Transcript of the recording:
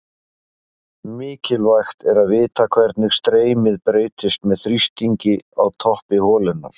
Mikilvægt er að vita hvernig streymið breytist með þrýstingi á toppi holunnar.